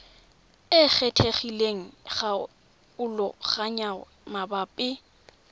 e kgethegileng ya kgaoganyo mabapi